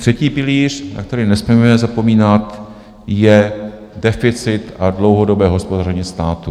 Třetí pilíř, na který nesmíme zapomínat, je deficit a dlouhodobé hospodaření státu.